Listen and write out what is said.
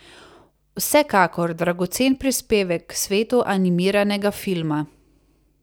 Vsekakor dragocen prispevek k svetu animiranega filma!